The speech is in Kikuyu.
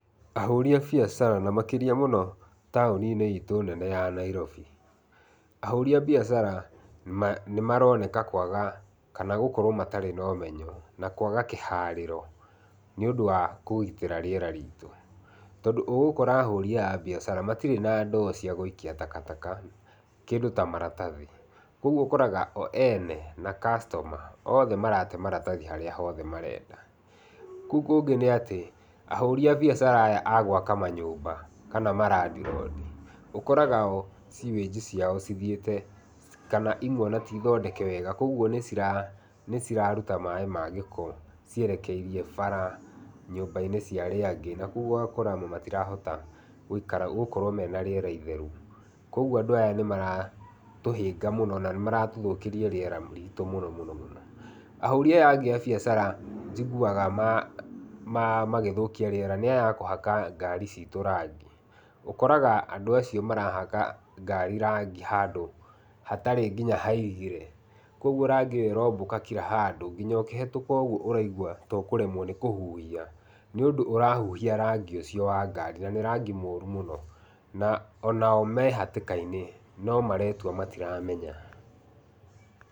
Ahũri a biacara na makĩria mũno taũni-inĩ itũ nene ya Nairobi. Ahũri a biacara nĩ maronekana kwaga kana gũkorwo matarĩ na ũmenyo na matarĩ na kwaga kĩharĩro nĩ ũndũ wa kũgitĩra rĩera ritũ, tondũ ũgũkora ahũri aya a biacara matirĩ na ndoo cia gũikia takataka kĩndũ ta maratathi, kwoguo ũkoraga o eene na customer othe marate maratathi harĩa hothe marenda, kũu kũngĩ nĩ atĩ ahũri a biacara aya agwaka manyũmba kana ma landlord ũkoraga oo sewage ciao cithiĩte kana imwe ona tithondeka wega ũguo nĩ cira ruta maĩ ma gĩko cierekeirie bara nyũmba-inĩ cia arĩa angĩ na kwoguo ũgakora amwe matirahota gũikara, gũkorwo mena rĩera itheru. Kwoguo andũ aya nĩ maratũhĩnga mũno na nĩ maratũthũkĩria rĩera ritũ mũno mũno. Ahũri aya angĩ a biacara njiguaga magĩthũkia rĩera nĩ aya a kũhaka ngari citũ rangi, ũkoraga andũ acio marahaka ngari rangi handũ hatarĩ nginya hairĩgĩre, kwoguo rangi ũyũ ũrombũka kira handũ nginya ũkĩhetũka ũguo ũraigua ta ũkũremwo nĩ kũhuhia nĩ ũndũ ũrahuhia rangi ũcio wa rangi na nĩ rangi mũru mũno na onao me hatĩka-inĩ no maretua matiramenya.